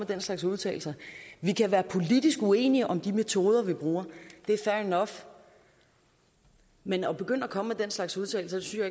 den slags udtalelser vi kan være politisk uenige om de metoder vi bruger det er fair nok men at begynde at komme med den slags udtalelser synes